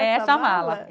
É essa mala. É essa mala